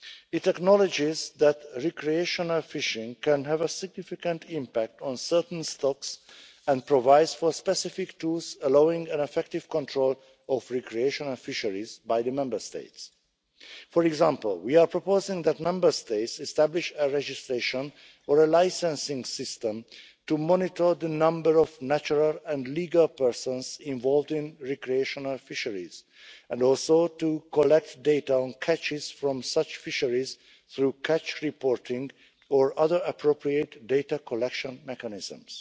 It acknowledges that recreational fishing can have a significant impact on certain stocks and provides for specific tools allowing an effective control of recreational fisheries by the Member States. For example, we are proposing that Member States establish a registration or licensing system to monitor the number of natural and legal persons involved in recreational fisheries and also to collect data on catches from such fisheries through catch reporting or other appropriate data collection mechanisms.